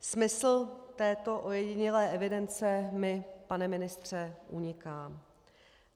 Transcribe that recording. Smysl této ojedinělé evidence mi, pane ministře, uniká.